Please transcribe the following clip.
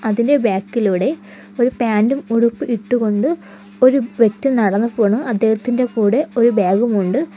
അതിന്റെ ബാക്കിലൂടെ ഒരു പാന്റു ഉടുപ്പ് ഇട്ട് കൊണ്ട് ഒരു വ്യക്തി നടന്നു പോണു അദ്ദേഹത്തിന്റെ കൂടെ ഒരു ബാഗും ഉണ്ട്.